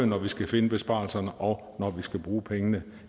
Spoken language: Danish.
når vi skal finde besparelserne og når vi skal bruge pengene